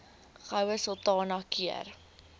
goue sultana keur